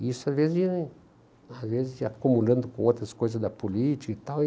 E isso às vezes ia as vezes ia acumulando com outras coisas da política e tal.